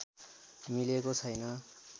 मिलेको छैन